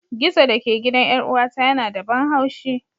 Gizo da ke gidan 'yar'uwata yana da ban haushi.